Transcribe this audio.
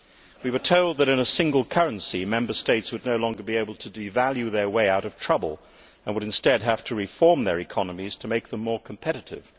We were told that in a single currency, Member States would no longer be able to devalue their way out of trouble, and would instead have to reform their economies to make them more competitive.